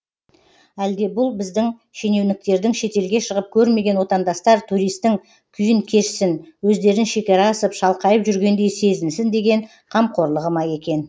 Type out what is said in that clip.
әлде бұл біздің шенеуніктердің шетелге шығып көрмеген отандастар туристтің күйін кешсін өздерін шекара асып шалқайып жүргендей сезінсін деген қамқорлығы ма екен